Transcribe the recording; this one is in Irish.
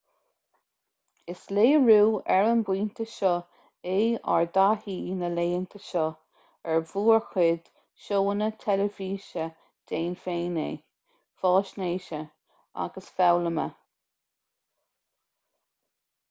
is léiriú ar an bpointe seo é ár dtaithí na laethanta seo ar mhórchuid seónna teilifíse déan féin é faisnéise agus foghlama